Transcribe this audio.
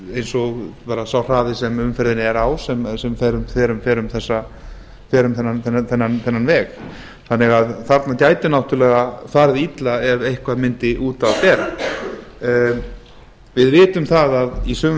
eins og sá hraði sem umferðin er á sem fer um þennan veg þannig að þarna gæti náttúrlega farið illa ef eitthvað mundi út af bera við vitum það að í sumum